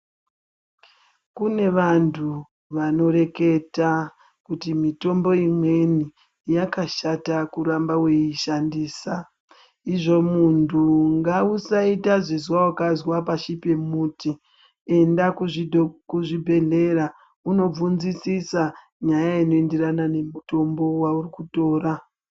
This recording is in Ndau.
Kune vantu vanoreketa kuti mitombo imweni yakashata kuramba weiishandisa izvo muntu ngausaita zizwa wakazwa pashi pemuti enda kuzvibhedhleya unobvunzisisa nyaya inoenderana nemutombo wauri kutora.